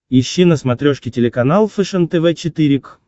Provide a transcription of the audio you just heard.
ищи на смотрешке телеканал фэшен тв четыре к